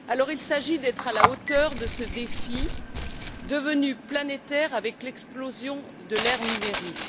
Il s'agit d'être à la hauteur de ce défi devenu planétaire avec l'explosion de l'ère numérique.